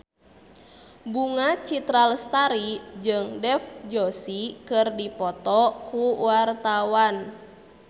Bunga Citra Lestari jeung Dev Joshi keur dipoto ku wartawan